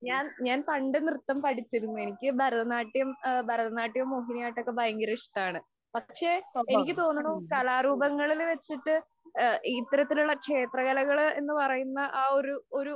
ഞാന്‍ പണ്ട് നൃത്തം പഠിച്ചിരുന്നു. എനിക്ക് ഭരതനാട്യം ഭരതനാട്യവും, മോഹിനിയാട്ടവും ഒക്കെ ഭയങ്കര ഇഷ്ടമാണ്. പക്ഷെ എനിക്ക് തോന്നുണു കലാരൂപങ്ങളില്‍ വച്ചിട്ട് ഇത്തരത്തിലുള്ള ക്ഷേത്രകലകള്‍ എന്ന് പറയുന്ന ആ ഒരു ഒരു